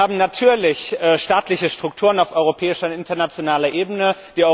Wir haben natürlich staatliche Strukturen auf europäischer und internationaler Ebene.